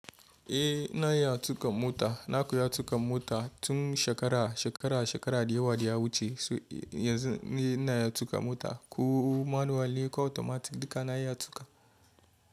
Eh, na iya tuka mota. Na koya tuka mota tun shekara, shekara, shekara da yawa da ya wuce. Yanzu ni ina iya tuka mota. Ko manuwal ne ko automatic dika na iya tuka.